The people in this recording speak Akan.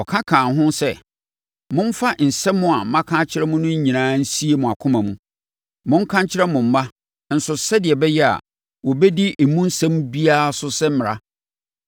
ɔka kaa ho sɛ, “Momfa nsɛm a maka akyerɛ mo no nyinaa nsie mo akoma mu. Monka nkyerɛ mo mma nso sɛdeɛ ɛbɛyɛ a wɔbɛdi emu asɛm biara so sɛ mmara.